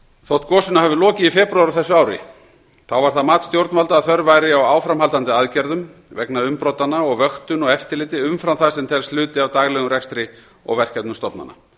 þótt gosinu hafi lokið í febrúar á þessu ári var það mat stjórnvalda að þörf væri á áframhaldandi aðgerðum vegna umbrotanna og vöktun og eftirliti umfram það sem telst hluti af daglegum rekstri og verkefnum stofnana